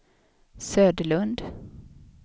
Söderlund